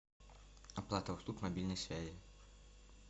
оплата услуг мобильной связи